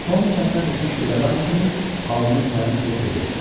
Tom çətinə düşmüş bir adam kimi alnının təriini silib dedi.